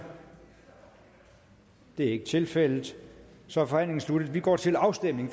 det er ikke tilfældet så er forhandlingen sluttet og vi går til afstemning